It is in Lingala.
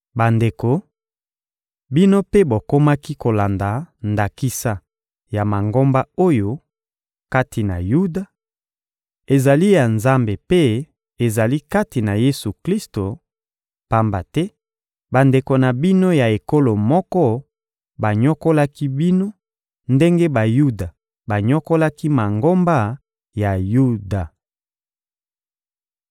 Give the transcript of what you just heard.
Bandeko, bino mpe bokomaki kolanda ndakisa ya Mangomba oyo, kati na Yuda, ezali ya Nzambe mpe ezali kati na Yesu-Klisto, pamba te bandeko na bino ya ekolo moko banyokolaki bino ndenge Bayuda banyokolaki Mangomba ya Yuda.